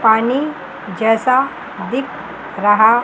पानी जैसा दिख रहा--